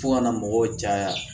Fo kana mɔgɔw caya